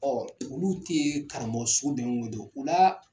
Ɔɔ olu te karamɔgɔ sugu nunnu dɔn wo,o la